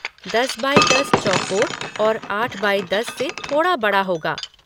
दस बाई दस चौकोर और आठ बाई दस से थोड़ा बड़ा होगा।